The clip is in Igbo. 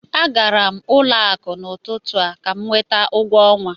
A gara m ụlọ akụ n'ụtụtụ a ka m nweta ụgwọ ọnwa